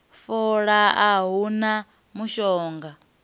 fola a hu na mushonga